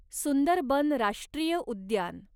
सुंदरबन राष्ट्रीय उद्यान